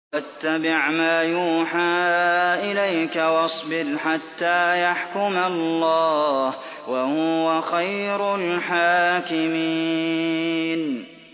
وَاتَّبِعْ مَا يُوحَىٰ إِلَيْكَ وَاصْبِرْ حَتَّىٰ يَحْكُمَ اللَّهُ ۚ وَهُوَ خَيْرُ الْحَاكِمِينَ